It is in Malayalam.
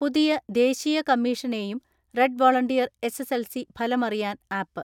പുതിയ ദേശീയ കമ്മീഷനെയും റെഡ് വോളണ്ടിയർ എസ്.എസ്.എൽ.സി ഫലമറിയാൻ ആപ്പ്